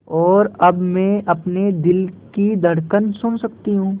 और अब मैं अपने दिल की धड़कन सुन सकती हूँ